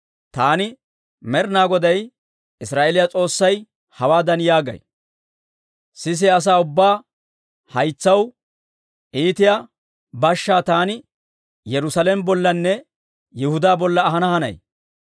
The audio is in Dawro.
taani Med'ina Goday Israa'eeliyaa S'oossay hawaadan yaagay; ‹Sisiyaa asaa ubbaa haytsaw iitiyaa bashshaa taani Yerusaalame bollanne Yihudaa bolla ahana hanay.